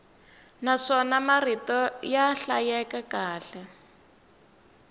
naswona marito ya hlayeka kahle